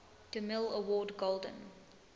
demille award golden